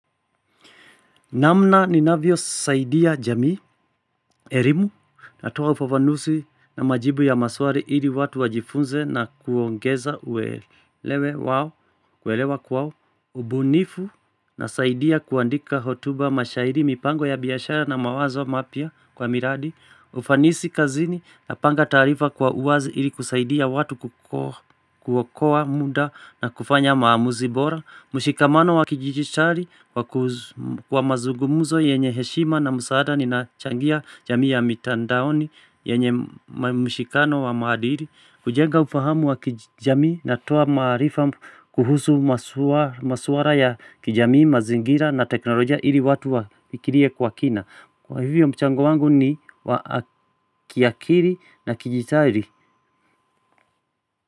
Namna ninavyosaidia jamii, elimu, natuma ufafanusi na majibu ya maswali ili watu wajifunze na kuongeza uwelewe wao, kuelewa kwao. Ubunifu nasaidia kuandika hotuba, mashairi, mipango ya biyashara na mawazo mapya kwa miradi. Ufanisi kazini napanga taarifa kwa uwazi ili kusaidia watu kuokoa muda na kufanya maamuzi bora. Mshikamano wa kidijitali kwa mazungumzo yenye heshima na msaada ninachangia jamii ya mitandaoni, yenye mshikano wa maadili. Kujenga ufahamu wa kijamii natoa maarifa kuhusu masuala ya kijamii, mazingira na teknolojia ili watu wafikirie kwa kina. Kwa hivyo, mchango wangu ni wa kiakili na kidijitali.